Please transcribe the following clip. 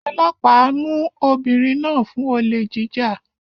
Ọlọ́pàá mú ọmọbìnrin náà fún olè jíjà